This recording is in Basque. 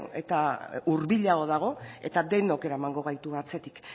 eta hurbilago dago eta denok eramango gaitu atzetik